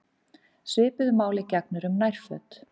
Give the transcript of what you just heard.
Svipuðu máli gegnir um nærföt.